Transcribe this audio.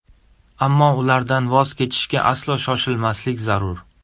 Ammo ulardan voz kechishga aslo shoshilmaslik zarur.